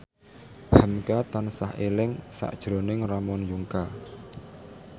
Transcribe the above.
hamka tansah eling sakjroning Ramon Yungka